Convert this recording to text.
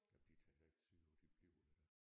Jamen de tager da ikke sydpå de bliver her